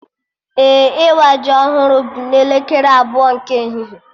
Ee, ịwa ji ọhụrụ bụ n'elekere abụọ nke ehihie